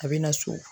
A bɛ na so